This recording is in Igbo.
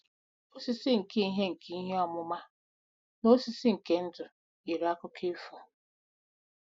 Osisi nke ihe nke ihe ọmụma na osisi nke ndụ yiri akụkọ ifo.